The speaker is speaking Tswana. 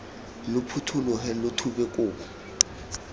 lo phuthologe lo thube kobo